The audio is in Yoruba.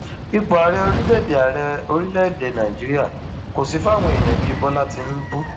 ipò ààrẹ orílẹèdè ààrẹ orílẹèdè nàíjíríà kò sì fáwọn èèyàn bíi bọlá tìǹbù